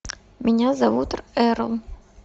меня зовут эрл